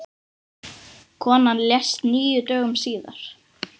Konan lést níu dögum síðar.